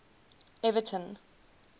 everton